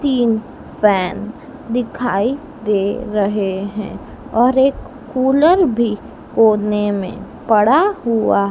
तीन फैन दिखाई दे रहे हैं और एक कुलर भी कोने में पड़ा हुआ--